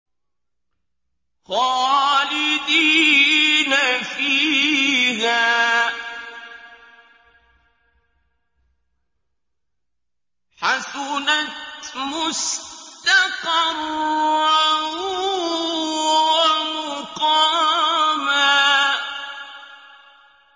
خَالِدِينَ فِيهَا ۚ حَسُنَتْ مُسْتَقَرًّا وَمُقَامًا